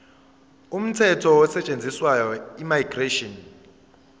umthetho osetshenziswayo immigration